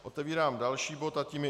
Otevírám další bod a tím je